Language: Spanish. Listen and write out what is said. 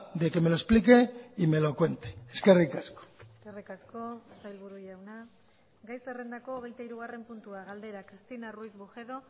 de que me lo explique y me lo cuente eskerrik asko eskerrik asko sailburu jauna gai zerrendako hogeita hirugarren puntua galdera cristina ruiz bujedo